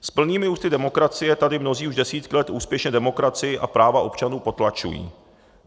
S plnými ústy demokracie tady mnozí už desítky let úspěšně demokracii a práva občanů potlačují.